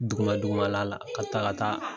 Duguma dugumala la ka taa ka taa